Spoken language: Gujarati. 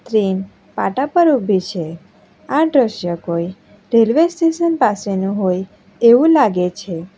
ટ્રેન પાટા પર ઉભી છે આ દ્રશ્ય કોઈ રેલ્વે સ્ટેશન પાસેનું હોય એવું લાગે છે.